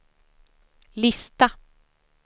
lista